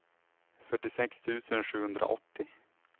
fyrtiosex tusen sjuhundraåttio